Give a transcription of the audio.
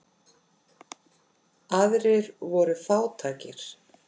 Aðrir voru fátækir.